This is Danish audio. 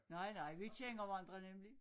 Nej nej vi kender hverandre nemlig